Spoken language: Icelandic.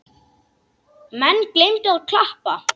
Menn gleymdu að klappa.